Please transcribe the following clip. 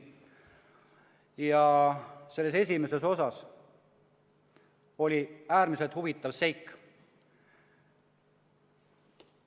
Ja selle esimeses osas oli äärmiselt huvitav seik.